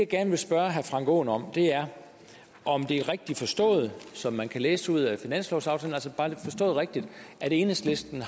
gerne vil spørge herre frank aaen om er om det er rigtigt forstået som man kan læse det ud af finanslovsaftalen at enhedslisten